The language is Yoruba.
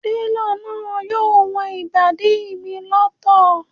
Télọ̀ náà yóò wọn ìbàdí mi lọ́tọ̀